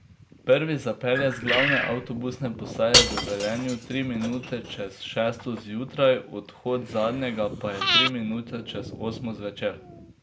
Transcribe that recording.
Prvi zapelje z glavne avtobusne postaje v Velenju tri minute čez šesto zjutraj, odhod zadnjega pa je tri minute čez osmo zvečer.